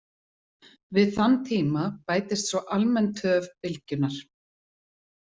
Við þann tíma bætist svo almenn töf bylgjunnar.